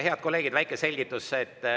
Head kolleegid, väike selgitus.